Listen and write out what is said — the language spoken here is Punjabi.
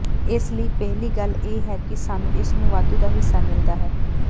ਇਸ ਲਈ ਪਹਿਲੀ ਗੱਲ ਇਹ ਹੈ ਕਿ ਸਾਨੂੰ ਇਸ ਨੂੰ ਵਾਧੂ ਦਾ ਹਿੱਸਾ ਮਿਲਦਾ ਹੈ